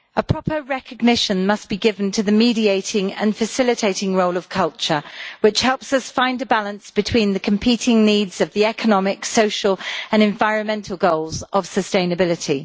Proper recognition must be given to the mediating and facilitating role of culture, which helps us find a balance between the competing needs of the economic, social and environmental goals of sustainability.